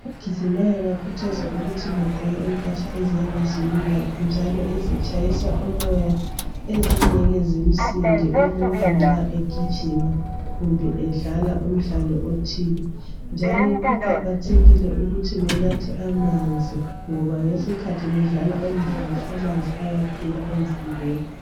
Abagijimayo bakhuthazwa ukuthi begqoke impahla eziyabe zilula njalo ezitshayisa umoya ezingeke zimsinde umuntu nxa egijima kumbe edlala umdlalo othile njalo kuqakathekile ukuthi benathe amanzi ngoba ngesikhathi bedlala umdlalo amanzi ayaphela emzimbeni.